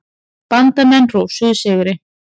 Bandamenn hrósuðu sigri.